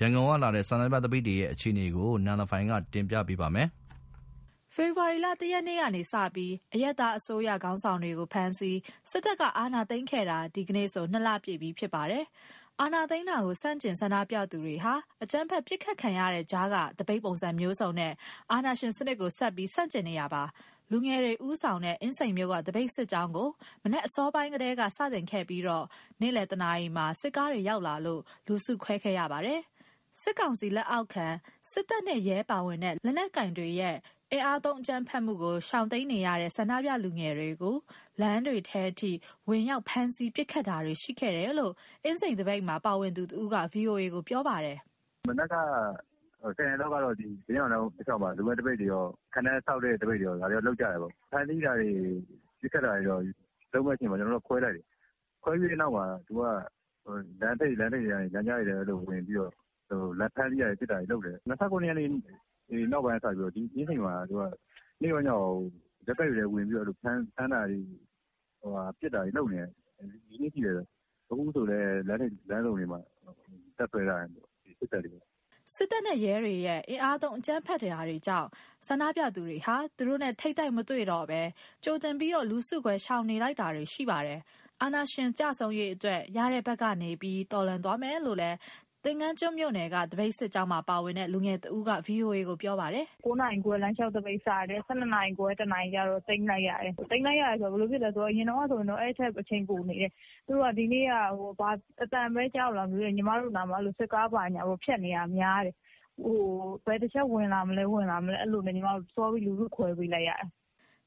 ရန်ကုန်ကလာတဲ့သတင်း အပြည့်အစုံကို နန်လဖိုင် က ပြောပြပေးပါမယ်။ ဖေဖော်ဝါရီလ ၁ရက်နေ့ကစပြီး အရပ်သားအစိုးရ ခေါင်းဆောင်တွေကို ဖမ်းဆီး၊ စစ်တပ်က အာဏာသိမ်းခဲ့တာ ဒီကနေ့ဆို ၂လပြည့်ပြီး ဖြစ်ပါတယ်။ အာဏာသိမ်းတာကို ဆန့်ကျင်ဆန္ဒပြသူတွေဟာ အကြမ်းဖက်ပစ်ခတ် ခံနေရတဲ့ကြားက သပိတ်ပုံစံမျိုးစုံနဲ့ အာဏာရှင်စနစ်ကို ဆက်ပြီး ဆန့်ကျင်နေတာပါ။ လူငယ်တွေဦးဆောင်တဲ့ အင်းစိန်မြို့နယ်က သပိတ်စစ်ကြောင်းကို မနက်အစောပိုင်းကတည်းက စတင်ခဲ့ပြီးတော့ နေ့လည် ၁နာရီအချိန်မှာ စစ်ကားတွေရောက်လာလို့ လူစုခွဲခဲ့ကြပါတယ်။ စစ်ကောင်စီလက်အောက်ခံ စစ်တပ်နဲ့ ရဲပါဝင်တဲ့ လက်နက်ကိုင်တွေရဲ့ အင်အားသုံးအကြမ်းဖက်မှာကို ရှောင်တိမ်းခဲ့တဲ့ ဆန္ဒပြလူငယ်တွေကို လမ်းတွေထဲထိ ဝင်ရောက်ဖမ်းဆီး ပစ်ခတ်တာတွေရှိခဲ့တယ်လို့ အင်းစိန်သပိတ်မှာ ပါဝင်သူတဦးက VOA ကိုပြောပါတယ်။ "မနက်က ၁၀ နာရီလောက်က ဘုရင့်နောင်လမ်းမ တလျှောက်မှာ လူမဲ့သပိတ်တွေရော၊ ခံတပ်ဆောက်တဲ့ သပိတ်တွေရော၊ ဒါတွေတော့ လုပ်ကြတာပေါ့။ ဖမ်းဆီးတာတွေ၊ ပစ်ခတ်တာတွေ လုပ်မဲ့အချိန်မှာ ကျနော်တို့က လူစုခွဲလိုက်တယ်။ ခွဲပြီးတဲ့နောက်မှာ သူတို့က လမ်းထိပ်တွေ၊ လမ်းကြားတွေထဲ ဝင်ပြီးတော့ ဖမ်းဆီးတာတွေ၊ ပစ်တာတွေလုပ်တယ်။ ၂၇ ရက်နေ့ နောက်ပိုင်းကစပြီးတော့ အင်းစိန်မှာ သူတို့က နေ့ရော၊ ညရော ရပ်ကွက်တွေထဲဝင်ပြီးတော့ ဖမ်းတာတွေ၊ ပစ်တာတွေလုပ်နေတယ်၊ ဒီနေ့ထိပဲဗျ။ အခုဆိုလည်း လမ်းထိပ်၊ လမ်းဆုံတွေမှာ တပ်စွဲထားတယ်။" စစ်တပ်နဲ့ ရဲတွေရဲ့ အင်အားသုံး အကြမ်းဖက်တာတွေကြောင့် ဆန္ဒပြသူတွေဟာ သူတို့နဲ့ ထိပ်တိုက်မတွေ့တော့ဘဲ ကြိုတင်ပြီး လူစုခွဲ ရှောင်လိုက်တာတွေရှိနေပါတယ်။ အာဏာရှင်ကျဆုံးရေးအတွက် ရတဲ့ဘက်ကနေဆက်ပြီး တော်လှန်သွားမယ်လို့လည်း သင်္ဃန်းကျွန်းမြို့နယ်က သပိတ်စစ်ကြောင်းမှာပါဝင်တဲ့ လူငယ်တဦးက VOA ကိုပြောပါတယ်။ "၉ နာရီခွဲ လမ်းလျှောက်သပိတ်စတယ်။ ၁၂ နာရီခွဲ - ၁ နာရီကျတော့ သိမ်းလိုက်ရတယ်။ သိမ်းလိုက်ရတယ်ဆိုတာ ဘယ်လိုဖြစ်လဲဆိုတော့ အရင်တုန်းကဆိုရင်တော့ အဲအချိန်ထက် ပိုနေတယ်။ ဒီနေ့က သူတို့တွေအသံပဲ ကြားလို့လားမသိဘူး၊ ညီမတို့နားမှာ စစ်ကားတွေဖြတ်နေတာ များတယ်။ ဘယ်တချက် ဝင်လာမလဲ... ဝင်လာမလဲ... အဲဒါနဲ့ ညီမတို့ လူစုခွဲပေးလိုက်ရတယ်။"